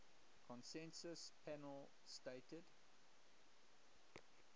consensus panel stated